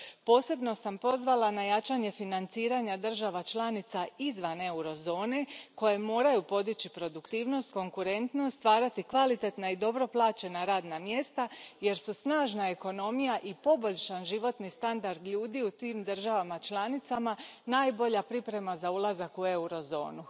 Posebno sam pozvala na jačanje financiranja država članica izvan eurozone koje moraju podići produktivnost, konkurentnost, stvarati kvalitetna i dobro plaćena radna mjesta jer su snažna ekonomija i poboljšan životni standard ljudi u tim državama članicama najbolja priprema za ulazak u eurozonu.